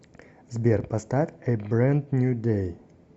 сбер поставь э брэнд нью дэй